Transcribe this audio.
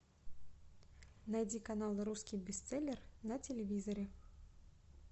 найди канал русский бестселлер на телевизоре